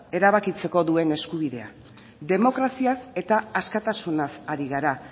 erabakitzeko duen eskubidea demokraziaz eta askatasunaz ari gara